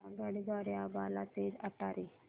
आगगाडी द्वारे अंबाला ते अटारी